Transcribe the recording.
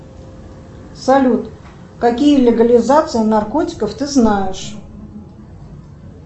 салют какие легализации наркотиков ты знаешь